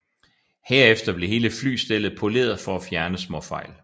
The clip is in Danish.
Herefter blev hele flystellet poleret for at fjerne småfejl